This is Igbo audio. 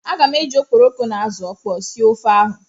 Aga m eji okporoko na azụ ọkpọọ sie ofe ahụ.